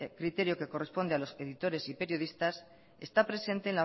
criterio que corresponde a los editores y periodistas está presente